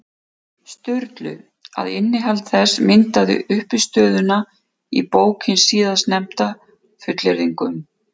Sturlu, að innihald þess myndaði uppistöðuna í bók hins síðarnefnda, fullyrðingum.